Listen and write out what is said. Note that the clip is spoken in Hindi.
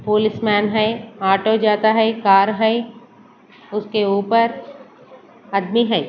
पुलिसमैन है ऑटो जाता है कार है उसके ऊपर आदमी है।